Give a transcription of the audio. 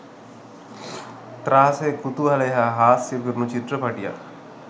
ත්‍රා‍ස‍ය‍ කු‍තු‍හ‍ල‍ය‍ හා‍ හා‍ස්‍ය‍ පි‍රු‍ණු‍ චි‍ත්‍ර‍ප‍ටි‍ය‍ක්